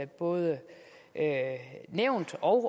både nævnt og